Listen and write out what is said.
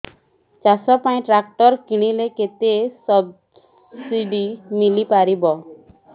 ଚାଷ ପାଇଁ ଟ୍ରାକ୍ଟର କିଣିଲେ କେତେ ସବ୍ସିଡି ମିଳିପାରିବ